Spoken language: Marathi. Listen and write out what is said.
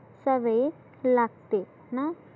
सवय लागते ना?